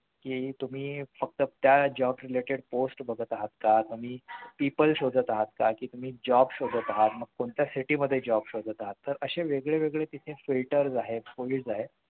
कि तुम्ही फक्त त्या job related post बघत आहात का तुम्ही people शोधात आहात का तुम्ही job शोधत आहात मग तुम्ही कोणत्या city मध्ये job शोधत आहात तरअशे वेगळे वेगळे तिथे filters आहेत आहेत